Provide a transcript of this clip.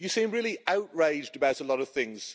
You seem really outraged about a lot of things.